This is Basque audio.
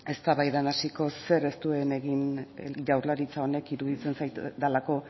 eztabaidan hasiko zer ez duen egin jaurlaritza honek iruditzen zait delako